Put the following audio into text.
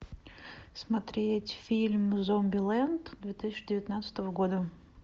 смотреть фильм зомбилэнд две тысячи девятнадцатого года